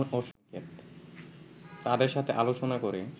তাদের সাথে আলোচনা করে